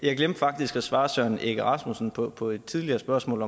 jeg glemte faktisk at svare herre søren egge rasmussen på på et tidligere spørgsmål